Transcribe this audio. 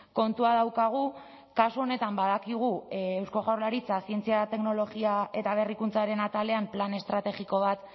kontua daukagu kasu honetan badakigu eusko jaurlaritza zientzia teknologia eta berrikuntzaren atalean plan estrategiko bat